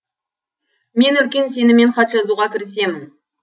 мен үлкен сеніммен хат жазуға кірісемін